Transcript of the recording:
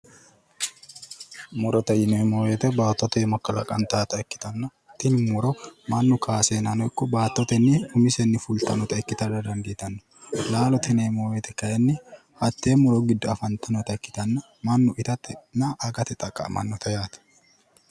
Murote yineemmo woyiite baattote iima kalaqantaata ikkitanna tini muro mannu kaaseennano ikko baattotenni umisenni fultannota ikkitara dandiitanno. laalote yineemmo woyiite kayiinni hattee muro giddo afantannota ikkitanna mannu itatenna agate xaqqa'mannote yaate.